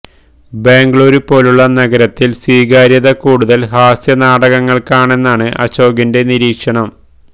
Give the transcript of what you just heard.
ബംഗളൂരു പോലുള്ള നഗരത്തില് സ്വീകാര്യത കൂടുതല് ഹാസ്യ നാടകങ്ങള്ക്കാണെന്നാണ് അശോകിന്റെ നിരീക്ഷണം